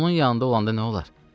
Onun yanında olanda nə olar?